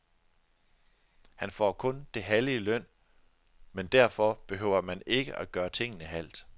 Han får kun det halve i løn, men derfor behøver man ikke at gøre tingene halvt.